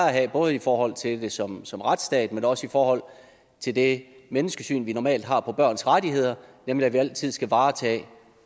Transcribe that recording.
at have både i forhold til det som som retsstat men også i forhold til det menneskesyn vi normalt har om børns rettigheder nemlig at vi altid skal varetage